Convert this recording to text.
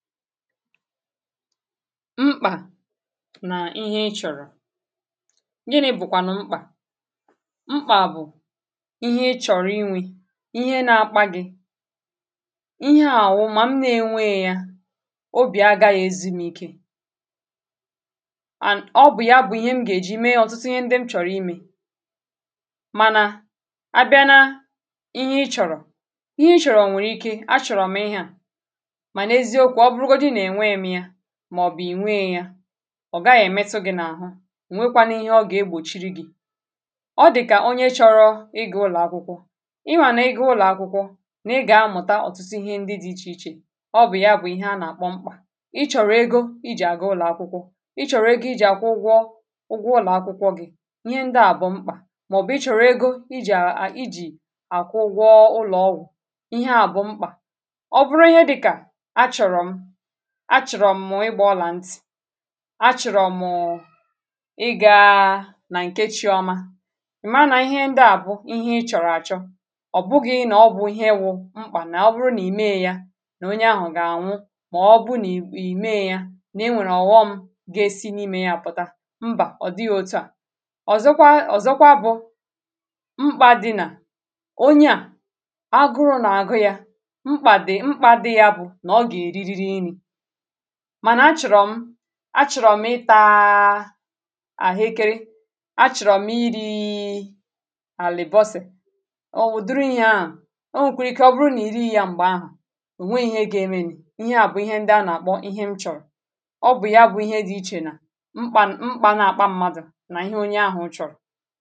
mkpà nà ihe ị chọ̀rọ̀ gị nà-ebùkwànụ̀ mkpà mkpà bụ̀ ihe ị chọ̀rọ̀ inwė ihe na-akpà gị̇ ihe àwụ mà m na-enwe yȧ obì agȧghị̇ ezimi̇kė and ọ bụ̀ ya bụ̀ ihe m gà-èji mee ọ̀tụtụ ihe ndị m chọ̀rọ̀ imė mànà abịa na ihe ị chọ̀rọ̀ ihe ị chọ̀rọ̀ nwèrè ike a chọ̀rọ̀ m ihe à màọ̀bụ̀ ìnweė ya ọ̀ gaghị̀ èmetụ gị̇ n’àhụ nwekwanụ ihe ọ gà-egbòchiri gị̇ ọ dị̀kà onye chọrọ ị gị̇ ụlọ̀ akwụkwọ ịwà nà ịgà ụlọ̀ akwụkwọ n’ịgà amụ̀ta ọ̀tụsị ihe ndị dị ichè ichè ọ bụ̀ ya bụ̀ ihe a nà-àkpọ mkpà i chọ̀rọ̀ egȯ i jì à gị ụlọ̀ akwụkwọ i chọ̀rọ̀ ego i jì à gwụọ ụgwọ ụgwọ ụlọ̀ akwụkwọ gị ihe ndị à bụ̀ mkpà màọ̀bụ̀ i chọ̀rọ̀ ego i jì à i jì à kụ ụgwọ ụlọ̀ ọgụ̀ ihe à bụ̀ mkpà achọ̀rọ̀ m̀mụ̀ ɪgbȧ ọlà ntì achọ̀rọ̀ mụ̀ụ̀ ị gaa nà ǹkechi ọma ị̀ maa nà ihe ndị à bụ̀ ihe ị chọ̀rọ̀ àchọ ọ̀ bụghị̇ nà ọ bụ̀ ihe wụ mkpà nà ọ bụrụ nà ì mee ya nà onye ahụ̀ gà ànwụ mà ọ bụ̀ nà ì mee ya nà e nwèrè ọ̀ghọm m ga-esi n’imė ya àpụ̀ta mbà ọ̀ dịghị̇ otu à ọ̀zọkwa ọ̀zọkwa bụ̇ mkpa di̇nà onye à agụrụ nà agụ̇ ya mkpà dị mkpà di̇ yȧ bụ̀ mànà achọ̀rọ̀m achọ̀rọ̀m ịtȧȧ àhụ ekeri achọ̀rọ̀m iri̇i̇ àlị̀bọsị̀ ò wù duru ihe ahụ̀ o nwèkwàrà ike ọ bụrụ nà iri yȧ m̀gbè ahụ̀ ò nwe ihe ga-emenì ihe à bụ̀ ihe ndị a nà-àkpọ ihe m chọ̀rọ̀ ọ bụ̀ ya bụ̀ ihe dị ichè nà mkpà na-àkpa mmadụ̀ nà ihe onye ahụ̀ chọ̀rọ̀